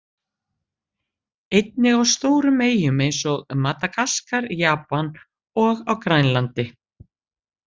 Einnig á stórum eyjum eins og Madagaskar, Japan og á Grænlandi.